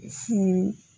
Furu